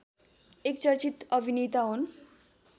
एक चर्चित अभिनेता हुन्